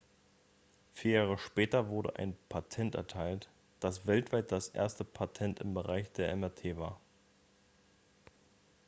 vier jahre später wurde ein patent erteilt das weltweit das erste patent im bereich der mrt war